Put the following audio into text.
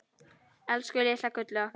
Elsku litla gullið okkar.